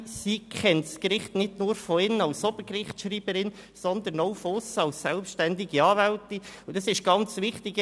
Sie kennt das Gericht nicht nur von innen als Obergerichtsschreiberin, sondern auch von aussen als selbständige Anwältin, und das ist sehr wichtig.